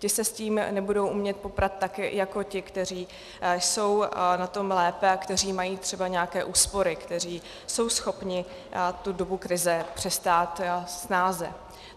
Ti se s tím nebudou umět poprat tak jako ti, kteří jsou na tom lépe a kteří mají třeba nějaké úspory, kteří jsou schopni tu dobu krize přestát snáze.